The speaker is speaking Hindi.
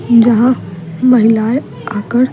जहां महिलाएं आकर।